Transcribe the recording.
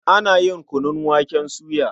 Ana yin kunun waken soya.